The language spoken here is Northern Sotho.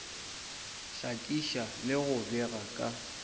hlakiša le go bega ka